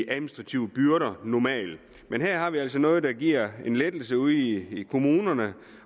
administrative byrder men her er der altså noget det giver en lettelse ude i kommunerne